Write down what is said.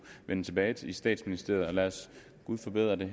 vende tilbage i statsministeriet lad os gud forbyde det